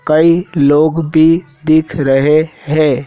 कई लोग भी दिख रहे हैं।